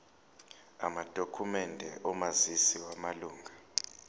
amadokhumende omazisi wamalunga